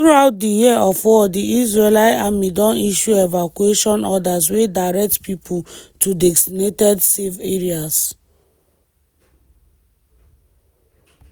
throughout di year of war di israeli army don issue evacuation orders wey direct pipo to designated “safe areas”.